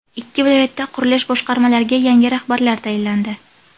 Ikki viloyatda qurilish boshqarmalariga yangi rahbarlar tayinlandi.